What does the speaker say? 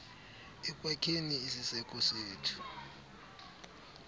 ekwakheni isiseko sethu